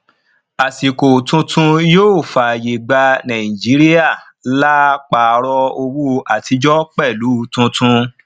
àsìkò tuntun yóò faaye gba nàìjíríà laa paarọ owó àtijọ pẹlú tuntun